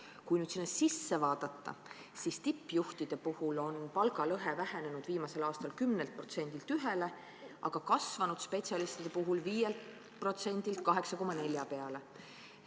Kui nüüd seda täpsemalt vaadata, siis tippjuhtide puhul on palgalõhe vähenenud viimasel aastal 10%-lt 1%-le, aga kasvanud spetsialistide puhul 5%-lt 8,4% peale.